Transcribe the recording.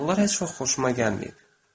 Onlar heç vaxt xoşuma gəlməyib.